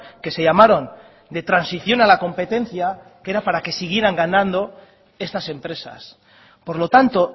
que se llamaron de transición a la competencia que era para que siguieran ganando estas empresas por lo tanto